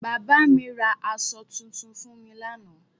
Bàbá mi ra aṣọ tuntun fún mi lánàá